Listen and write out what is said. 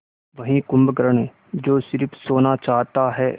वही कुंभकर्ण जो स़िर्फ सोना चाहता है